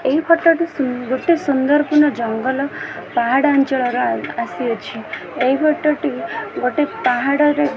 ଏହି ଫଟୋ ଟି ସୁ ଗୋଟେ ସୁନ୍ଦର କିନା ଜଙ୍ଗଲ ପାହାଡ଼ ଅଞ୍ଚଳର ଆସି ଅଛି ଏହି ଫଟୋ ଟି ଗୋଟେ ପାହାଡ଼ର।